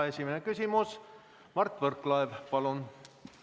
Esimene küsimus, Mart Võrklaev, palun!